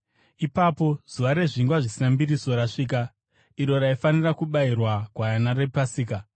Ipapo zuva reZvingwa Zvisina Mbiriso rakasvika, iro raifanira kubayirwa gwayana rePasika.